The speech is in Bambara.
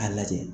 A lajɛ